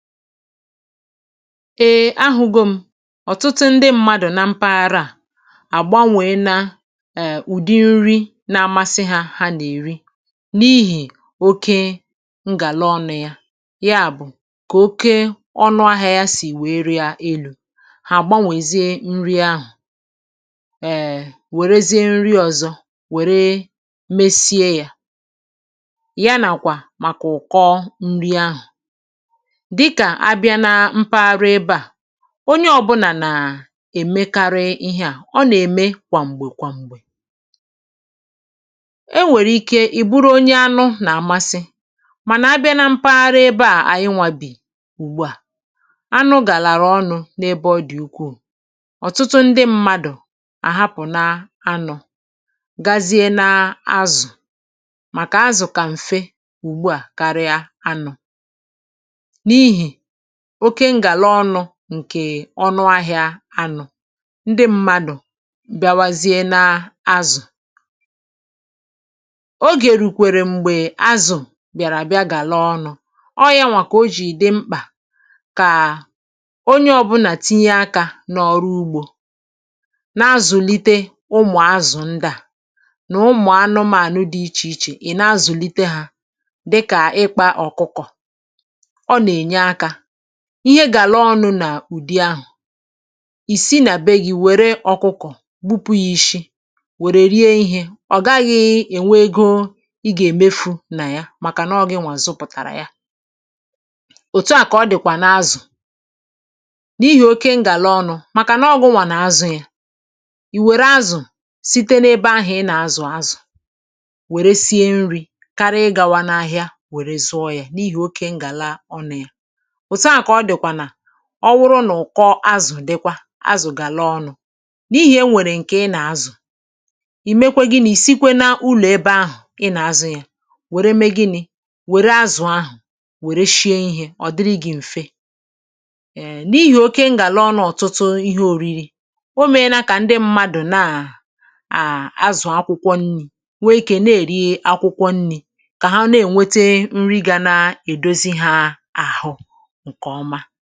ee, ahụ̀go m̀ ọ̀tụtụ ndị mmadụ̀ na mpaghara à àgbanwe na um ụdi̇ nri na-amasị hȧ hà nà-èri n’ihì oke ngàla ọnụ̇ yá. Yá bụ̀ kà oke ọnụ ahịȧ yȧ sì wèe riȧ elu̇ hà àgbanwezie nri ahụ̀ um wèrezie nri ọ̀zọ wère mesie yȧ, ya nàkwà màkà ụ̀kọ nri ahụ̀. Dị kà abịa na mpaghara ebe a, onye ọ̀bụnà nà-èmekarị ihé à ọ nà-ème kwà m̀gbè kwà m̀gbè. É nwèrè ike ị̀ bụrụ onye anụ nà-àmasị mànà abịa na mpaghara ebe à ànyị nwȧ bi ùgbu à anụ gàlàrà ọnụ n’ebe ọ dị̀ ukwuù ọ̀tụtụ ndị mmadụ̀ àhapụ̀ na anụ̇ gazie na azụ̀ màkà azụ̀ kà m̀fe ùgbu à karịa anụ̇. N'ihi òkè ngàla ọnụ nkè ọnụ ahị̇ȧ anụ, ndị m̀madụ̀ bịawazie na azụ. Ogè rukwèrè m̀gbè azụ̀ bị̀àrà bịa gàlaa ọnụ̇ ọ yȧnwà kà o jì dị mkpà kà onye ọ̀bụnà tinye akȧ n’ọrụ ugbȯ na-azụ̀lite ụmụ̀ azụ̀ ndị à nà ụmụ̀ anụmȧnụ dị ichè ichè ị̀ na-azụ̀lite hȧ dịkà ịkpȧ ọ̀kụkọ̀, ọ ná enye áká. Ihé gàlaa ọnụ̇ nà ụ̀di ahụ̀ isi nà be gi wère ọkụkọ̀ gbupụ yi ishi wère rie ihé ọ gaghị̇ enwè ego ị gà èmefu nà ya màkà nọ gi nwà zụpụ̀tàrà ya. òtu à kà ọ dị̀kwà na-azụ̀ n'ihi oke n gàla ọnụ̇, màkà nọ gụ̇ nwà nà-azụ̀ ya, ì wère azụ̀ site n’ebe ahụ̀ ị nà-azụ̀ azụ̀ wère sie nri̇ karịa ịgàwa n’ahịa wère zụọ̇ ya n’ihì oke n gàla ọnụ ya òtù a kà ọ dị̀kwà nà ọ wụrụ nà ụ̀kọ azụ̀ dikwa azụ̀ gàlaa ọnụ̇ n’ihì e nwèrè ǹkè ị nà-azụ̀ ì mekwe gịnị̇ sikwe na ụlọ̀ ebe ahụ̀ ị nà-azụ̇ yȧ wère mee gịnị̇ wère azụ̀ ahụ̀ wère shie ìhè ọ̀ dịrị gị̇ m̀fe um n’ihì oke ngàla ọṅụ ọ̀tụtụ ihé ȯri̇ri̇, o mee na kà ndị mmadụ ná um azụ̀ akwụkwọ nni̇ nwee ikė na-èri akwụkwọ nni̇ kà há na-ènwete nri gȧ na-èdozi hȧ àhụ nkè ómá.